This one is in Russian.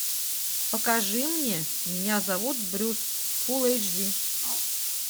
покажи мне меня зовут брюс фул эйч ди